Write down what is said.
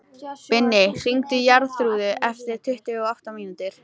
Binni, hringdu í Jarþrúði eftir tuttugu og átta mínútur.